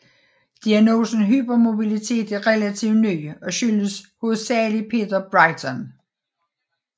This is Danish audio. Diagnosen hypermobilitet er relativt ny og skyldes hovedsageligst Peter Beighton